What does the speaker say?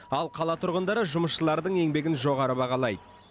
ал қала тұрғындары жұмысшылардың еңбегін жоғары бағалайды